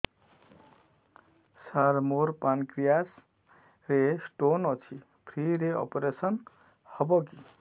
ସାର ମୋର ପାନକ୍ରିଆସ ରେ ସ୍ଟୋନ ଅଛି ଫ୍ରି ରେ ଅପେରସନ ହେବ କି